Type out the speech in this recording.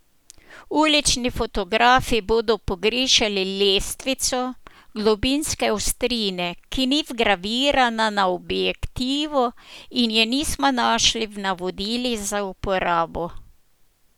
Ulični fotografi bodo pogrešali lestvico globinske ostrine, ki ni vgravirana na objektivu in je nismo našli v navodilih za uporabo.